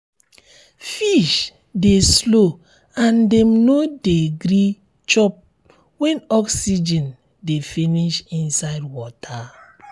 fish de slow and dem no de gree chiop when oxygen de finish inside water